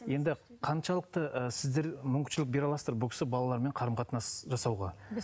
енді қаншалықты і сіздер мүмкіншілік бере аласыздар бұл кісі балаларымен қарым қатынас жасауға